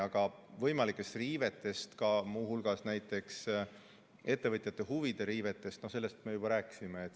Aga võimalikest riivetest, ka muu hulgas näiteks ettevõtjate huvide riivetest me juba rääkisime.